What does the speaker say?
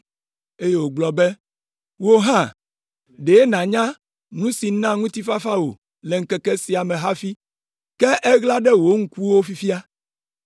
eye wògblɔ be, “Wò hã, ɖe nànya nu si na ŋutifafa wò le ŋkeke sia me hafi, ke eɣla ɖe wò ŋkuwo fifia.